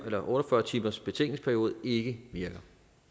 otte og fyrre timersbetænkningsperiode ikke virker